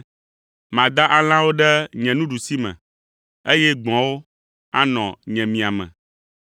Mada alẽawo ɖe nye nuɖusime, eye gbɔ̃awo anɔ nye miame.